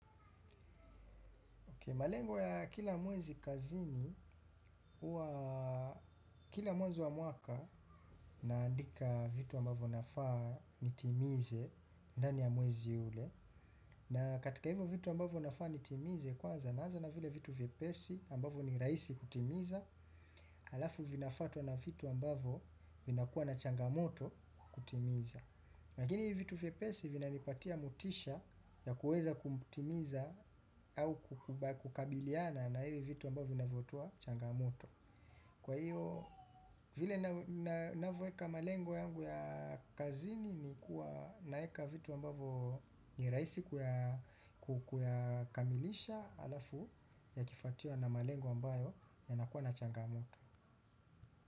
Malengo ya kila mwezi kazini, kila mwezi wa mwaka naandika vitu ambavyo nafaa nitimize ndani ya mwezi ule. Na katika hivyo vitu ambavyo nafaa nitimize kwanza naanza na vile vitu viepesi ambavyo ni rahisi kutimiza. Alafu vinafwatua na vitu ambayo vinakuwa na changamoto kutimiza. Lakini hivitu viepesi vina nipatia motisha ya kuweza kumtimiza au kukabiliana na hivi vitu ambavyo vinavyotoa changamuto. Kwa hivyo, vile ninavyo eka malengo yangu ya kazini ni kuwa naeka vitu ambavyo nirahisi kuya kamilisha alafu yakifwatiwa na malengo ambayo yanakuwa na changamuto.